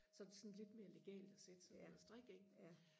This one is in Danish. så er det sådan lidt mere legalt og sætte sig ned og strikke ikke